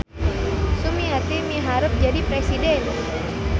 Sumiati miharep jadi presiden